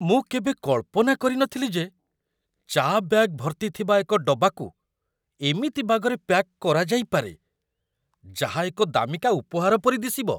ମୁଁ କେବେ କଳ୍ପନା କରିନଥିଲି ଯେ ଚା' ବ୍ୟାଗ୍ ଭର୍ତ୍ତି ଥିବା ଏକ ଡବାକୁ ଏମିତି ବାଗରେ ପ୍ୟାକ୍ କରାଯାଇପାରେ, ଯାହା ଏକ ଦାମିକା ଉପହାର ପରି ଦିଶିବ!